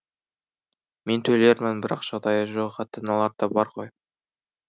мен төлермін бірақ жағдайы жоқ ата аналар да бар ғой